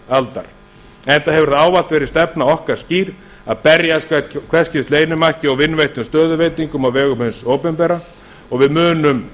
aldar enda hefur það ávallt verið stefna okkar skýr að berjast gegn hvers kyns leynimakki og vinveittum stöðuveitingum á vegum hins opinbera og við munum